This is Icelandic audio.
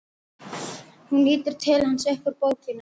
Hún lítur til hans upp úr bókinni.